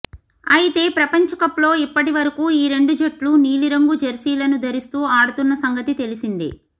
అయితే ప్రపంచకప్లో ఇప్పటివరకు ఈ రెండు జట్లూ నీలిరంగు జెర్సీలను ధరిస్తూ ఆడుతున్న సంగతి తెలిసిందే